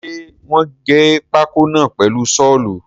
Ṣe wọ́n gé pákó náà pẹ̀lu sọ́ọ̀lù?